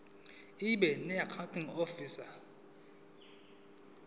ibe noaccounting ihhovisir